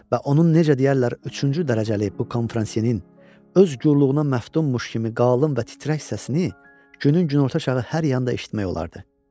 Və onun necə deyərlər üçüncü dərəcəli bu konfransiyerin öz yorluğuna məftummuş kimi qalın və titrək səsini günün günorta çağı hər yanda eşitmək olardı.